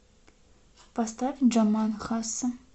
поставь джаман хасса